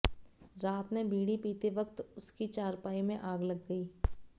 रात में बीड़ी पीते वक्त उसकी चारपाई में आग लग गई